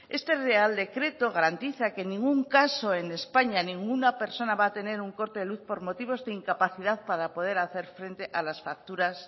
este real decreto garantiza que ningún caso en españa ninguna persona va a tener un corte de luz por motivos de incapacidad para poder hacer frente a las facturas